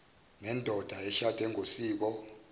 nendoda eshade ngosiko